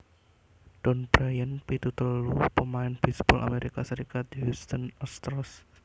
Don Bryant pitu telu pamain bisbol Amerika Serikat Houston Astros